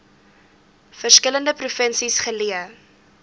verskillende provinsies geleë